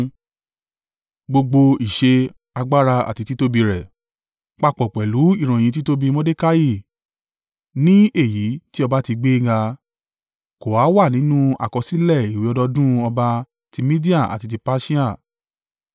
Gbogbo ìṣe agbára àti títóbi rẹ̀, papọ̀ pẹ̀lú ìròyìn títóbi Mordekai ní èyí tí ọba ti gbé e ga, kò ha wà nínú àkọsílẹ̀ ìwé ọdọọdún ọba ti Media àti ti Persia?